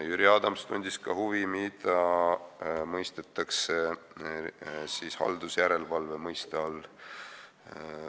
Jüri Adams tundis huvi, mida mõistetakse haldusjärelevalve mõiste all.